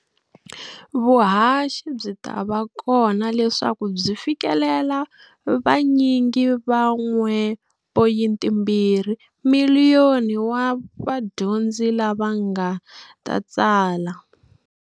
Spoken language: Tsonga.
Vuhaxi byi ta va kona leswaku byi fikelela vanyingi va 1.2 miliyoni wa vadyondzi lava va nga ta tsala.